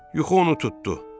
Yuxu onu tutdu.